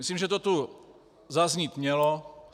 Myslím, že to tu zaznít mělo.